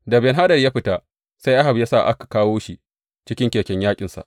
Da Ben Hadad ya fita, sai Ahab ya sa aka kawo shi cikin keken yaƙinsa.